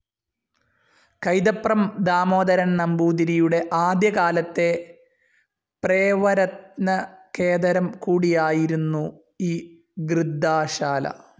കൈതപ്രം ദാമോദരൻ നമ്പൂതിരിയുടെ ആദ്യകാലത്തെ പ്രേവര്തനകേദരം കൂടിയായിരുന്നു ഈ ഗൃദ്ധാശാല